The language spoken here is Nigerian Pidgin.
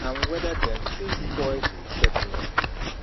and wether dem fit spoil di settlement